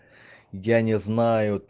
я не знаю